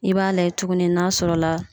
I b'a lajɛ tuguni n'a sɔrɔla